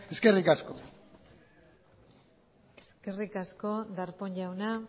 eskerrik asko eskerrik asko darpón jauna